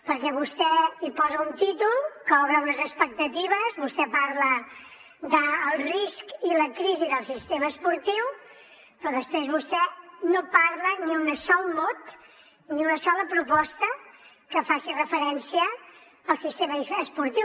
perquè vostè hi posa un títol que obre unes expectatives vostè parla del risc i la crisi del sistema esportiu però després vostè no parla ni un sol mot ni una sola proposta que faci referència al sistema esportiu